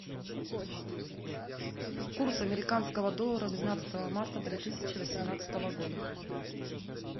курс американского доллара двенадцатого марта две тысячи восемнадцатого года